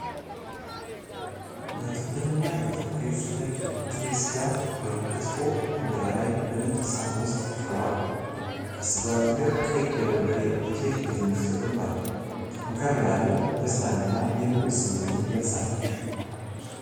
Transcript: በትኩረት እና በፍቅር የተዘጋጀ ጥሬ ሥጋ (ክትፎ) በእንጀራ ላይ በነጭ ሳህን ውስጥ ቀርቧል። ከስጋው አጠገብ ቀይ የበርበሬ ዱቄት በትንሹ ተቀምጧል። ጠንከር ያለ ደስታን እና የምግብ ስሜትን ይገልጻል።